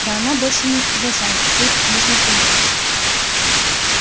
да она больше не уважает всю эту книжную премудрость